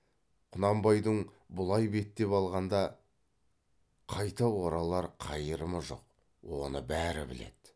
құнанбайдың бұлай беттеп алғанда қайта оралар қайырымы жоқ оны бәрі біледі